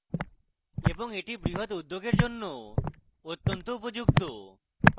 এবং এটি বৃহৎ উদ্যোগের জন্যও অত্যন্ত উপযুক্ত